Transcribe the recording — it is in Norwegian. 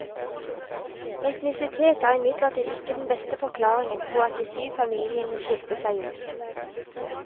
Etnisitet er imidlertid ikke den beste forklaringen på at de syv familiene skilte seg ut.